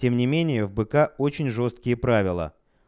тем не менее в бк очень жёсткие правила